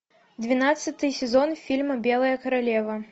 двенадцатый сезон фильма белая королева